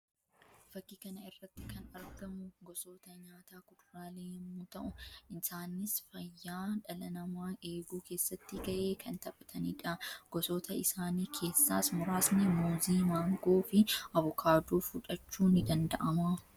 Fakkii kana irratti kan argamu gosoota nyaatáa kuduraalee yammuu ta'u; isaannis fayyaa dhala namaa eeguu keessatti ga'ee kan taphatanii dha. Gosoota isaanii keeessas muraasni muuzii, maangoo fi avukaadoo fudhachuun ni danda'ama.